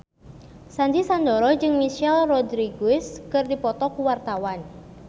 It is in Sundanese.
Sandy Sandoro jeung Michelle Rodriguez keur dipoto ku wartawan